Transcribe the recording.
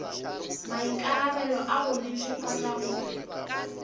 maikarabelo a go netefatša gore